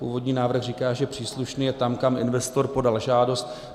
Původní návrh říká, že příslušný je tam, kam investor podal žádost.